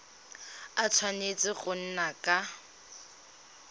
a tshwanetse go nna ka